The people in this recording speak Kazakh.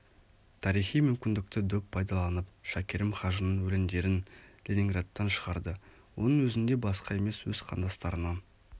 тарихи мүмкіндікті дөп пайдаланып шәкерім хажының өлеңдерін ленинградтан шығарды оның өзінде басқа емес өз қандастарынан